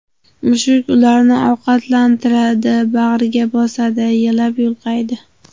Mushuk ularni ovqatlantiradi, bag‘riga bosadi, yalab-yulqaydi.